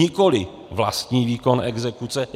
Nikoliv vlastní výkon exekuce.